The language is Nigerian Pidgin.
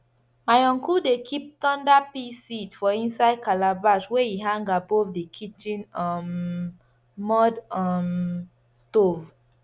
my uncle dey keep thunder pea seed for inside calabash wey e hang above di kitchen um mud um stove